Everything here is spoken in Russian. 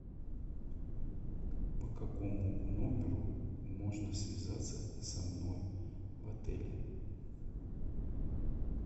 по какому номеру можно связаться со мной в отеле